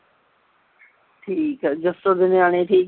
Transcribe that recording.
ਠੀਕ ਆ ਜੱਸੋ ਦੇ ਨਿਆਣੇ ਠੀਕ